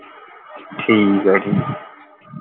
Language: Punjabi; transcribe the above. ਠੀਕ ਹੈ ਠੀਕ